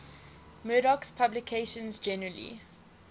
murdoch's publications generally